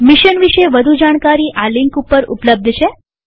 mission વિષે વધુ જાણકારી આ લિંક ઉપર ઉપલબ્ધ છે